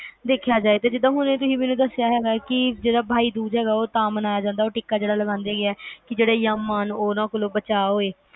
ਦੇਖਿਆ ਜਾਏ ਤਾ ਜਿਵੇ ਤੁਸੀਂ ਹੁਣ ਦੱਸਿਆ ਕਿ ਬਾਈ ਦੂਜ ਜਿਹੜਾ ਤਾ ਮਨਾਇਆ ਜਾਂਦਾ ਤੇ ਉਹ ਟਿੱਕਾ ਤਾ ਲਗਾਇਆ ਜਾਂਦਾ ਕੇ ਜਿਹੜੇ ਯਮ ਆ ਉਹਨਾਂ ਕੋਲੋਂ ਬਚਾ ਹੋਏ